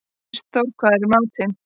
Kristþór, hvað er í matinn?